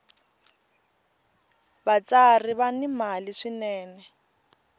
vatsari va ni mali swinene